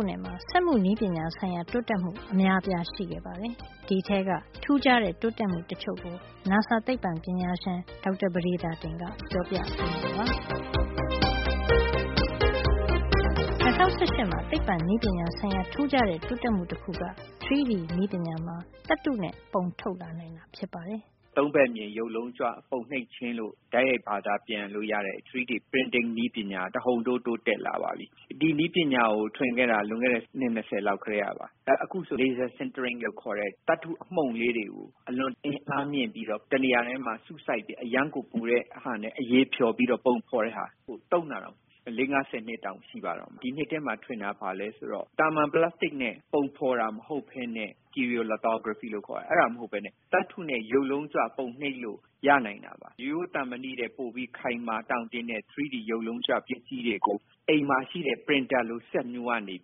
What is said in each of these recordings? ခုနှစ်မှာ စက်မှုနည်းပညာဆိုင်ရာ တိုးတက်မှု အများအပြားရှိခဲ့ပါတယ်။ ဒီအထဲက ထူးခြားတဲ့ တိုးတက်မှုတချို့ကို နာဆာ သိပ္ပံပညာရှင် ဒေါက်တာ ပဒေသာတင်က ပြောပြပေးမှာပါ။ ၂၀၁၈ မှာ သိပ္ပံနည်းပညာဆိုင်ရာ ထူးခြားတဲ့ တိုးတက်မှု တခုက 3D နည်းပညာမှာ သတ္တုနဲ့ ပုံထုတ်နိုင်လာတာ ဖြစ်ပါတယ်။ “၃ ဘက်မြင် ရုပ်လုံးကြွ ပုံနှိပ်ခြင်းလို့ တိုက်ရိုက် ဘာသာပြန်လို့ရတဲ့ 3D Printing နည်းပညာဟာ တဟုန်ထိုး တိုးတက်လာပါပြီ။ ဒီနည်းပညာကို ထွင်ခဲ့တာက လွန်ခဲ့တဲ့ အနှစ် ၂၀ လောက်ကတည်းကပါ။ အခု laser centering လို့ခေါ်တဲ့ သတ္တုအမှုန့်လေး တွေကို ပုံဖေါ်တဲ့ဟာကို သုံးတာဟာ ၄- ၅- ၁၀ နှစ်လောက် ရှိပါပြီ။ ဒီနှစ်ထဲမှာ ထွင်တာက ဘာလဲဆိုတော့၊ သာမန် ပလပ်စတိတ်နဲ့ ပုံဖေါ်တာ မဟုတ်ပဲနဲ့ stereo lithography လို့ခေါ်တဲ့ဟာ မဟုတ်ပဲနဲ့ သတ္တုနဲ့ ရုပ်လုံးကြွပုံနှိပ်လို့ ရနိုင်ပါပြီ။ ရိုးရိုး သံမဏိထက် ပိုပြီး ခိုင်မာ တောင့်တင်းတဲ့ ဒီ 3D ရုပ်လုံးကြွ ပစ္စည်းတွေကို အိမ်မှာ ရှိတဲ့ printer လို စက်မျိုးကနေ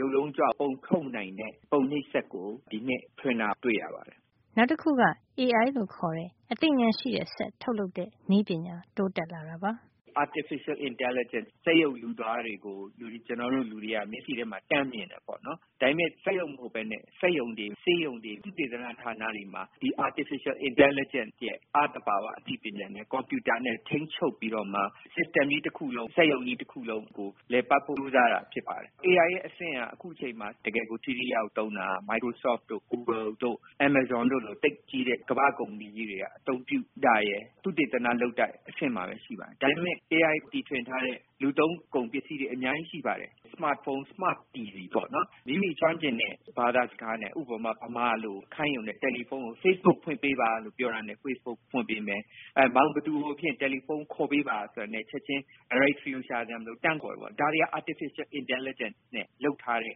ရုပ်လုံးကြွပုံထုတ်နိုင်တဲ့ ပုံနှိပ်စက်ကို ဒီနှစ်ထဲ တီထွင်တာ တွေ့ရပါတယ်။ နောက်တခုကတော့ AI လို့ခေါ်တဲ့ အသိဉာဏ် ရှိတဲ့စက်ထုတ်လုပ်တဲ့ နည်းပညာ တိုးတက်လာတာပါ။ “Artificial Intelligence လို့ဆိုရင် စက်ရုပ်လူသားတွေကို ကျနော်တို့ မျက်စိထဲမှာ တန်းမြင်တယ် ပေါ့နော်။ ဒါပေမယ့် စက်ရုပ်မဟုတ်ပဲနဲ့ စက်ရုံတွေ၊ ဆေးရုံတွေ၊ သုတေသန ဌာနတွေမှာ ဒီ Artificial Intelligence ရဲ့ အ- သဘာဝ အသိပညာနဲ့ ကွန်ပြူတာနဲ့ ထိန်းချုပ်ပြီးတော့မှ system စံနစ်ကြီး တခုလုံး၊ စက်ရုံကြီး တခုလုံးကို လည်ပတ်ဖို့ ကြိုးစားတာ ဖြစ်ပါတယ်။ AI ရဲ့ အဆင့်က အခု အချိန်မှာ တကယ်ကို ထိထိရောက်ရောက် သုံးတာက Microsoft တို့၊ google ဂူဂယ်လ် တို့ Amazon အမေဇုံတို့လို သိပ်ကြီးတဲ့ ကမ္ဘာ့ ကုမ္ပဏီကြီးတွေက အသုံးပြု တာရယ်၊ သုတေသန လုပ်တဲ့ အဆင့်မှာပဲ ရှိပါသေးတယ်။ ဒါပေမယ့် AI တီထွင်ထားတဲ့ လူသုံးကုန်ပစ္စည်းတွေ အများကြီး ရှိပါတယ်။ စမတ်ဖုံး၊ စမတ် တီဗီပေါ့။ မိမိကျွမ်းကျင်တဲ့ ဘာသာ စကားနဲ့ ဥပမာ မြန်မာလို့ခိုင်းရင် ဖေ့စ်ဘုတ်ဖွင့်ပေးပါလို့ ပြောရင် ဖေ့စ်ဘုတ် ဖွင့်ပေးမယ်။ ဘယ်သူ့တယ်လီဖုံးကို ခေါ်ပေးပါဆိုတာနဲ့ ချက်ချင်း directory ရှာစရာ မလိုပဲနဲ့ တန်းပြီး ခေါ်ပေးတာ၊ ဒါတွေက Artificial Intelligence နဲ့ လုပ်ထားတဲ့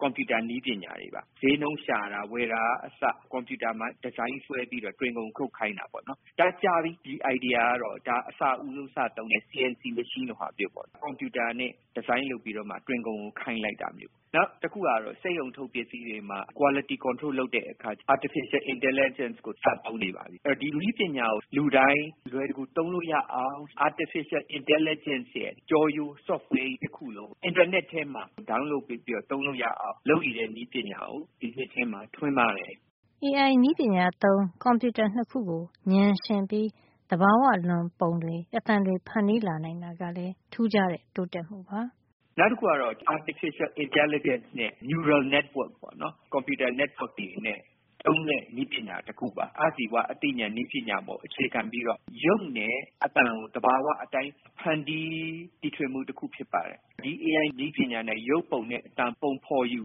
ကွန်ပြူတာ နည်းပညာတွေပါ။ ဈေးနှုန်းရှာတာ၊ ဝယ်တာက အစ ကွန်ပြူတာမှာ ဒီဇိုင်းဆွဲပြီးတော့ တွင်ခုံ ခုတ်ခိုင်းတာတွေ ပေါ့နော်။ ဒါ ကြာပါပြီ။ ဒီအိုင်ဒီယာကတော့၊ ဒါအစဦးဆုံး စသုံးတဲ့ CNC (Computer Numerical Control) machine လိုမျိုး၊ ကွန်ပြူတာနဲ့ ဒီဇိုင်းလုပ်ပြီးမှ တွင်ခုံကို ခိုင်းလိုက်တာ။ နောက်တခုကတော့ စက်ရုံထုတ်ပစ္စည်းတွေမှာ အရည်အသွေးထိန်းချုပ်တဲ့ quality control လုပ်တဲ့အခါ AI ကိုစသုံးနေပါပြီ။ ဒီနည်းပညာကို လူတိုင်း အလွယ်တကူ သုံးလို့ရအောင် Artificial Intelligence ရဲ့ ကျောရိုး software ကြီး တခုလုံးကို အင်တာနက်ထဲမှာ ဒေါင်းလုပ်ပေးပြီးတော့ သုံးလို့ရအောင် လုပ်နေတဲ့ နည်းပညာကို ဒီနှစ်ထဲမှာ ထွင်ပါတယ်။ AI နည်းပညာသုံး ကွန်ပြူတာ ၂ ခု ကို ဉာဏ်ယှဉ်ပြီး သဘာဝလွန်ပုံတွေ အသံတွေ ဖန်တီးလာနိုင်တာ ကလည်း ထူးခြားတဲ့ တိုးတက်မှုပါ။ “နောက်တခုကတော့ Artificial Intelligence နဲ့ Neural Networks ပေါ့နော်။ ကွန်ပြူတာ network တွေနဲ့ သုံးတဲ့ နည်းပညာတခုပါ။ အ-ဇီဝနည်းပညာ ပေါ် အခြေခံပြီးတော့ ရုပ်နဲ့ အသံကို သဘာဝအတိုင်း ဖန်တီးတီထွင်မှု တခု ဖြစ်ပါတယ်။ ဒီ AI နည်းပညာနဲ့ ရုပ်ပုံနဲ့ အသံပုံဖေါ်ယူ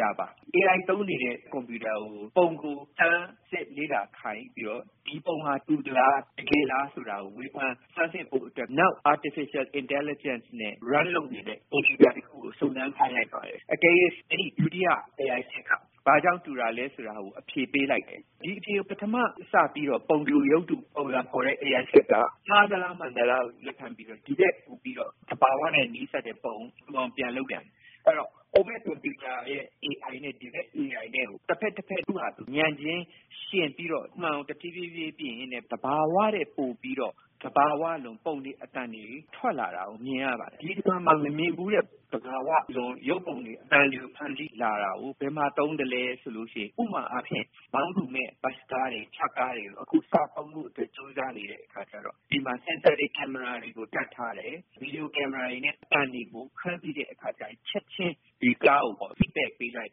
တာပါ။ AI သုံးနေတဲ့ ကွန်ပြူတာကို ပုံကို တိုက်ရိုက်လေ့လာခိုင်းပြီးတော့ ဒီပုံက တူတာလား ၊ တကယ်လား ဆိုတာကို ဆန်းစစ်ဖို့အတွက် နောက် AI နဲ့ run လုပ်နေတဲ့ ကွန်ပြူတာ တခုကို စုံစမ်း ခိုင်းလိုက်ပါတယ်။ တကယ်လို့ ဒုတိယ AI စက်က ဘာကြောင့် တူတာလဲ ဆိုတာကို အဖြေပေးလိုက်တယ်။ ဒီအဖြေကို ပထမ စပြီးတော့ ပုံတူ ရုပ်တူ ပုံစံဖေါ်တဲ့ စက်က မှားသလား၊ မှန်သလား ဆိုတာကို လက်ခံပြီးတော့ ဒီထက် ပိုပြီးတော့ သဘာဝနဲ့ နီးစပ်တဲ့ပုံ တူအောင် ပြန်လုပ်တာ၊ အဲဒီတော့ ဟိုဘက် ကွန်ပြူတာရဲ့ AI နဲ့ ဒီဘက် ကွန်ပြူတာနဲ့ကို တဖက်တဖက် ဉာဏ်ချင်း ယှဉ်ပြီးတော့ မှန်အောင် တဖြေးဖြေးပြင်ရင်းနဲ့ သဘာဝထက် ပိုပြီးတော့ သဘာဝလွန် ပုံတွေ အသံတွေ ထွက်လာတာ မြင်ရပါတယ်။ ဒီလို မမြင်ဘူးတဲ့ သဘာဝလွန် ရုပ်ပုံတွေ၊ အသံတွေဖန်တီးလာတာကို ဘယ်မှာ သုံးသလဲ ဆိုရင် ဥပမာ အားဖြင့် မောင်းသူမဲ့ ဘတ်စကားတွေ ထရပ်ကားတွေကို အခုစသုံးဖို့အတွက် ကြိုးစားနေတဲ့အခါ ကျတော့ အဲဒီမှာ sensor အာရုံခံစက်တွေ၊ ကင်မရာတွေကို တပ်ထားတယ်။ ဗီဒီယို ကင်မရာတွေနဲ့ ရုပ်တွေ အသံတွေကို ဖမ်းပြီးတဲ့အခါ ချက်ချင်း ဒီကားကို အချက်လက် ပေးလိုက်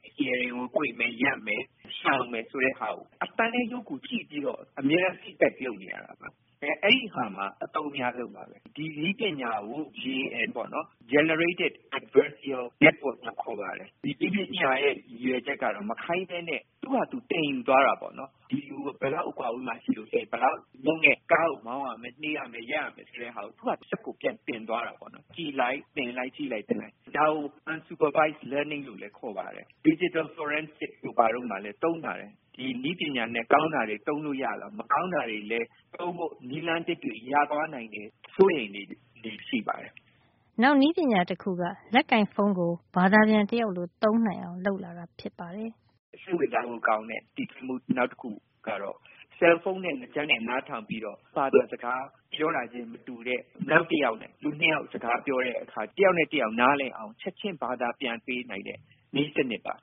ပြီး စတီရာရင် ကို ကွေ့မယ်၊ ရပ်မယ်၊ ရှောင်မယ် ဆိုတဲ့ဟာကို အသံနဲ့ ရုပ်ကိုကြည့်ပြီးတော့ အမြဲတမ်း feedback ပေး နေရတာပါ။ အဲဒီလို နေရာမှာ အသုံးအများဆုံး ပါပဲ။ ဒီနည်းပညာကို GAN ပေါ့နော်။ Generative Adversarial Network လို့ခေါ်ပါတယ်။ ဒီနည်းပညာရဲ့ ရည်ရွယ်ချက်ကတော့ မခိုင်းပဲနဲ့ သူဟာသူ သင်ယူသွားတာ ပေါ့နော်။ ဒီလို ဘယ်လောက် အကွာအဝေးမှာ ရှိရင် ကားကို ဘယ်လောက်နှုန်းနဲ့ မောင်းရမယ်၊ နှေးရမယ်၊ ရပ်ရမယ် ဆိုတာကို သူ့ဟာသူ စက်ကို ပြန်သင်သွားတာ ပေါ့နော်။ ကြည့်လိုက်- သင်လိုက်၊ ကြည့်လိုက်သင်လိုက်- ဒါကို unsupervised learning လို့လည်း ခေါ်ပါတယ်။ digital forensic တို့ ဘာတို့မှာလည်း သုံးပါတယ်။ ဒီနည်းပညာနဲ့ ကောင်းတာတွေ သုံးလို့ရသလို မကောင်းတာတွေလည်း သုံးဖို့ နည်းလမ်း သစ်တွေ ရသွားနိုင်တယ် ဆိုပြီး စိုးရိမ်စိတ်တွေလည်း ရှိနေပါတယ်။” နောက် နည်းပညာတခုက လက်ကိုင်ဖုံးကို ဘာသာပြန်တယောက်လို သုံးနိုင်အောင် လုပ်လာ နိုင်တာ ဖြစ်ပါတယ်။ “စိတ်ဝင်စားဖို့ ကောင်းတဲ့ တီထွင်မှု နောက်တခုပါ။ အဲဒါကတော့ ဆဲလ်ဖုံးနဲ့ နားကြပ်နဲ့ နားထောင်ပြီးတော့ ဘာသာစကား ပြောတာချင်း မတူတဲ့ နောက်တယောက်နဲ့ လူ ၂ ယောက် စကားပြောတဲ့အခါ တယောက်နဲ့ တယောက် နားလည်အောင် ချက်ချင်း ဘာသာပြန်ပေး နိုင်တဲ့ နည်းစံနစ်ပါ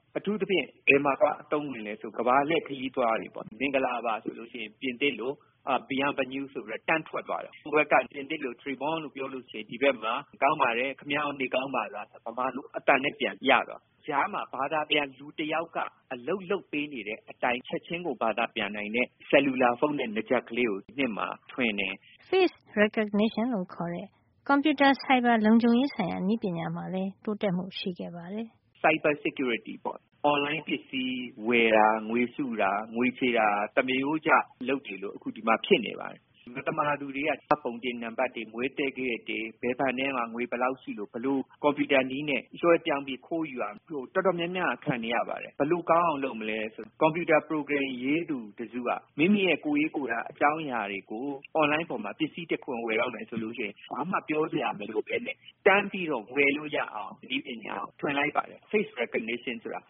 ။ အထူူးသဖြင့် ဘယ်မှာ သွား အသုံးဝင်သလဲ ဆိုတော့ ကမ္ဘာလှည့် ခရီးသွားတွေ အတွက်ပေါ့။ ဥပမာ မင်္ဂလာပါ ဆို ပြင်သစ်လို ဘီရန်းဘနျူး ဆိုပြီးတော့ တန်းထွက်သွား တယ်။ ဟိုဘက်က ပြင်သစ်လို Tres’ bon လို့ပြောရင် ကောင်းပါတယ်။ ခင်ဗျားရော နေကောင်းပါလား ဆိုတာကို မြန်မာလို အသံနဲ့ ပြန်ကြားရတယ်။ ကြားမှာ ဘာသာပြန် လူတယောက်က အလုပ်လုပ် ပေးနေတဲ့ အတိုင်း ချက်ချင်းကိုဘာသာ ပြန်နိုင်တဲ့ လက်ကိုင်ဖုံးနဲ့ နားကြပ်ကလေးကို ထွင်တယ်။ Face recognition လို့ခေါ်တဲ့ ကွန်ပြူတာ ဆိုင်ဘာလုံခြုံရေးဆိုင်ရာ နည်းပညာမှာလည်း တိုးတက်မှု ရှိခဲ့ပါတယ်။ “ဆိုင်ဘာ လုံခြုံရေးပေါ့။ အွန်လိုင်း ပစ္စည်း ဝယ်တာ၊ ငွေစုတာ၊ ငွေချေတာ၊ တွေဟာ အခုဆို သမရိုးကျအလုပ်တွေလို ဖြစ်နေပါပြီ။ မသမာသူတွေက မှတ်ပုံတင် နံပါတ်တွေ၊ မွေးသက္ကရာဇ်တွေ၊ ဘယ်ဘဏ်ထဲမှာ ငွေဘယ်လောက် ရှိလို့ ဘယ်လို ကွန်ပြူတာနည်း နဲ့ လွှဲပြောင်းပြီး ခိုးယူတယ် ဆိုတာ တော်တော်များများကခံနေရပါတယ်။ ဒါကိုဘယ်လို ကောင်းအောင် လုပ်မလဲ ဆိုတာ ကွန်ပြူတာ ပရိုဂရမ် ရေးသူတစုက မိမိရဲ့ ကိုယ်ရေးကိုယ်တာ အကြောင်းအရာ တွေကို အွန်လိုင်းပေါ်မှာ ပစ္စည်း တခုဝယ်တော့မယ် ဆိုလို့ရှိရင် ဘာမှ ပြောစရာ မလိုပဲနဲ့ တန်းပြီးတော့ ဝယ်လို့ ရအောင် နည်းပညာကို ထွင်လိုက်ပါတယ်။ face recognition ဆိုတာပါ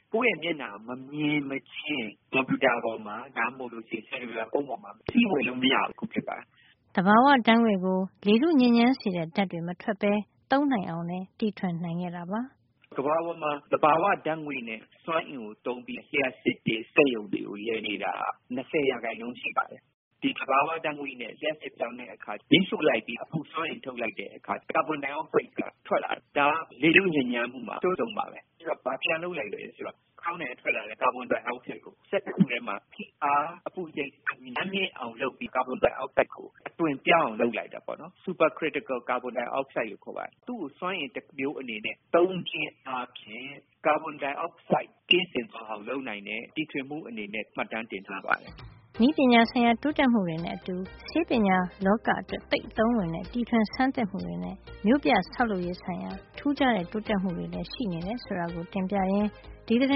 ။ ကိုယ့်ရဲ့ မျက်နှာကို မမြင်မချင်း ကွန်ပြူတာ ပေါ်မှာ ဒါမှမဟုတ် လက်ကိုင်ဖုံး ပေါ်မှာ ပစ္စည်း ဝယ်လို့ မရအောင် လုပ်တာပါ။ သဘာဝ ဓါတ်ငွေ့ကို လေထုညစ်ညမ်းစေတဲ့ ဓါတ်တွေမထွက်ပဲ သုံးနိုင်အောင်လည်း တီထွင်နိုင်ခဲ့ပါတယ်။ “ကမ္ဘာပေါ်မှာ သဘာဝ ဓါတ်ငွေ့နဲ့ စွမ်းအင်ကို သုံးပြီး လျှပ်စစ်နဲ့ စက်ရုံတွေကို လည်နေတာက ၁၀ % ရှိပါတယ်။ ဒီသဘာဝ ဓါတ်ငွေ့နဲ့ လျှပ်စစ်ပြောင်းတဲ့အခါ မီးရှို့လိုက်ပြီး အပူစွမ်းအင် ထုတ်လိုက်တဲ့ အခါ ကာဗွန်ဒိုင်အောက်ဆိုက် ဓါတ်ငွေ့က ထွက်လာတယ်။ ဒါ ဟာ လေထုညစ်ညမ်းမှုမှာ အဆိုးဆုံး ပါပဲ။ အဲဒါကို သူတို့က ဘာပြန်လုပ်လိုက်သလဲ ဆိုတော့ ခေါင်းတိုင်က ထွက်လာတဲ့ ကာဗွန်ဒိုင်အောက်ဆိုက်ကို စက်တခုထဲမှာ ဖိအား အပူချိန် အရမ်းမြင့်အောင် လုပ်ပြီး ကာဗွန်ဒိုင်အောက်ဆိုက်ကို အသွင်ပြောင်းအောင် လုပ်လိုက်တယ်။ super critical carbon dioxide လို့ခေါ်ပါတယ်။ သူ့ကို စွမ်းအင် တမျိုး အနေနဲ့ သုံးခြင်းအားဖြင့် ကာဗွန်ဒိုင်အောက်ဆိုက် ကင်းစင်သွားအောင် လုပ်နိုင်တဲ့ တီထွင်မှု အနေနဲ့ မှတ်တမ်းတင် ထားပါတယ်။ နည်းပညာ ဆိုင်ရာ တိုးတက်မှုတွေနဲ့ အတူ ဆေးပညာလောက အတွက် သိပ်အသုံးဝင်တဲ့ တီထွင်ဆန်းသစ်မှုတွေနဲ့ မြို့ပြဆောက်လုပ်ရေး ဆိုင်ရာ ထူးခြားတဲ့ တိုးတက်မှုတွေလည်း ရှိနေတယ် ဆိုတာကို တင်ပြရင်း ဒီသီတ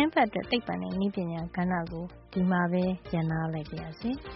င်းပတ်အတွက် သိပ္ပံနဲ့ နည်းပညာကဏ္ဍကို ဒီမှာပဲ ရပ်နားလိုက်ပါရစေ။